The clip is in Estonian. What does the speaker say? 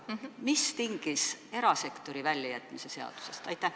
Mis tingis erasektori väljajätmise seadusest?